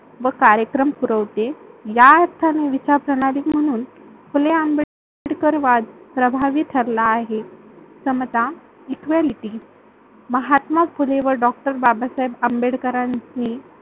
व कार्यक्रम पुरवते. या अर्थाने विस्तारप्रनाली वरून फुले आंबेडकरवाद प्रभावी ठरला आहे. समता, इक्व्यालिटी महात्मा फुले व डॉ. बाबासाहेब आंबेडकरांची